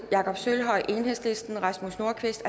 jakob sølvhøj rasmus nordqvist